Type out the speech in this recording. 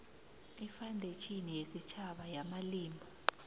ifandetjhini yesitjhaba yamafilimu